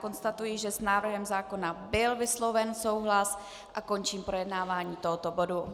Konstatuji, že s návrhem zákona byl vysloven souhlas, a končím projednávání tohoto bodu.